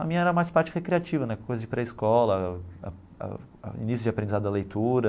A minha era mais parte recreativa né, coisa de pré-escola ah ah ah, início de aprendizado a leitura.